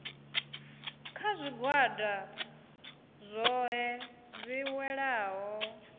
kha zwigwada zwohe zwi welaho